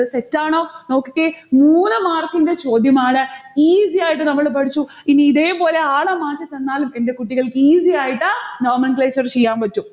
തെറ്റാണോ? നോക്കിക്കേ, മൂന്ന് mark ന്റെ ചോദ്യമാണ്. easy ആയിട്ട് നമ്മൾ പഠിച്ചു. ഇനി ഇതേപോലെ ആളെ മാറ്റിത്തന്നാലും എന്റെ കുട്ടികൾക്ക് easy ആയിട്ട് nomenclature ചെയ്യാൻ പറ്റും.